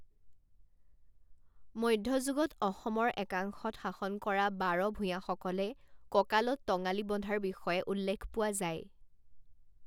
মধ্যযুগত অসমৰ একাংশত শাসন কৰা বাৰ ভূঞাসকলে কঁকালত টঙালি বন্ধাৰ বিষয়ে উল্লেখ পোৱা যায়।